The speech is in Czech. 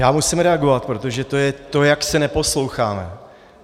Já musím reagovat, protože to je to, jak se neposloucháme.